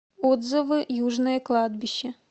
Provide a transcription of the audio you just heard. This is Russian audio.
отзывы южное кладбище